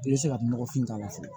I bɛ se ka nɔgɔfin k'a la fɔlɔ